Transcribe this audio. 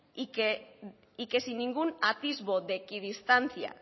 y que sin ningún atisbo de equidistancia